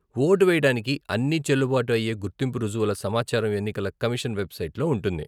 Vote వేయడానికి అన్నీ చెల్లుబాటు అయ్యే గుర్తింపు రుజువుల సమాచారం ఎన్నికల కమిషన్ వెబ్సైట్లో ఉంటుంది.